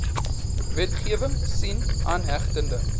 wetgewing sien aangehegte